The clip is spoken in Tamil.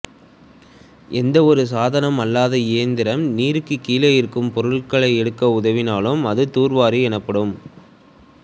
எந்தவொரு சாதனம் அல்லது இயந்திரம் நீருக்கு கீழே இருக்கும் பொருள்களை எடுக்க உதவினாலும் அது தூர்வாரி எனப்படும்